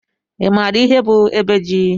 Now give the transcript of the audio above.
i maara ihe bụ ebe ji?